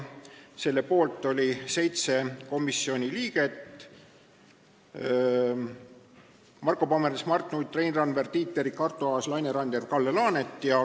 Selle poolt oli 7 komisjoni liiget: Marko Pomerants, Mart Nutt, Rein Randver, Tiit Terik, Arto Aas, Laine Randjärv ja Kalle Laanet.